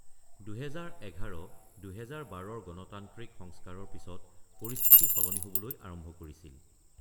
২০১১-২০১২ৰ গণতান্ত্ৰিক সংস্কাৰৰ পিছত পৰিস্থিতি সলনি হ'বলৈ আৰম্ভ কৰিছিল।